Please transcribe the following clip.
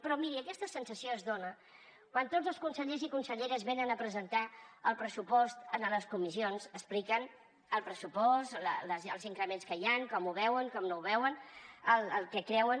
però miri aquesta sensació es dona quan tots els consellers i conselleres venen a presentar el pressupost a les comissions a explicar el pressupost els increments que hi han com ho veuen com no ho veuen el que creuen